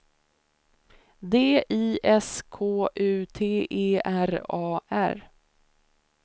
D I S K U T E R A R